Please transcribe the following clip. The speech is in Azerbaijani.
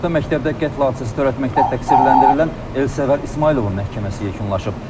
Orta məktəbdə qətl hadisəsi törətməkdə təqsirləndirilən Elsəvər İsmayılovun məhkəməsi yekunlaşıb.